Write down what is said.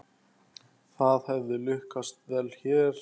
Það hefði lukkast vel hér.